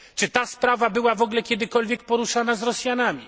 Czy ta sprawa była w ogóle kiedykolwiek poruszana z Rosjanami?